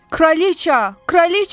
Kraliç, kraliç!